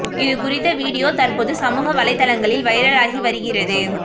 இது குறித்த வீடியோ தற்போது சமூக வலைதளங்களில் வைரல் ஆகி வருகிறது